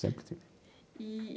Sempre tive. Eee.